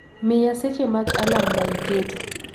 miya seche mag alarm ma iketo